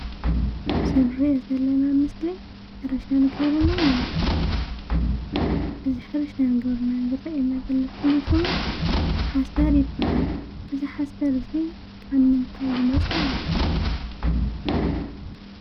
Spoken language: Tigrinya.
ብዝንር የ ዘለና ምስሊ ሕርሻን ገርናን እዩ እዝ ሕርሻን ገብርና ዝርአየና ዘሎ ድማ ሹም ሓሰር ይብሃል እዝ ሓሠር እዙይ ካብ ምንታይ ዝመፀ እዩ?